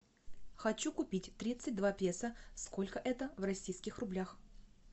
хочу купить тридцать два песо сколько это в российских рублях